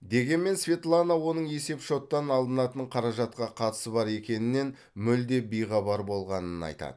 дегенмен светлана оның есеп шоттан алынатын қаражатқа қатысы бар екенінен мүлде бейхабар болғанын айтады